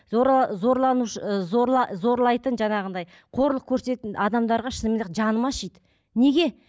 зорланушы ы зорлайтын жаңағыдай қорлық көрсететін адамдарға шынымен де жаным ашиды неге